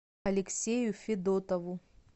алексею федотову